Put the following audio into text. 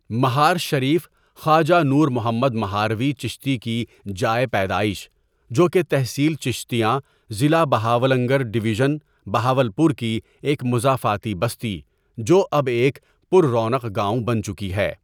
مہار شریف خواجہ نور محمد مہاروی چشتی کی جائے پیدائش جو کہ تحصیل چشتیاں ضلع بہاولنگر ڈویژزن بہاولپور کی ایک مضافاتی بستی جو اب ایک پر رونق گاؤں بن چکی ہے.